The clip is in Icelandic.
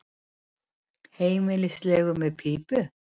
Heimilislegur með pípu.